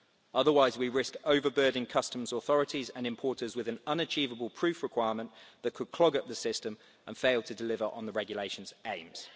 Otherwise, we risk overburdening customs authorities and importers with an unachievable proof requirement that could clog up the system and fail to deliver on the regulation's aims.